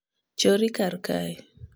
chor ri kar kae